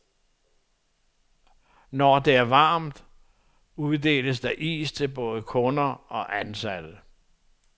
Når det er varmt, uddeles der is til både kunder og ansatte.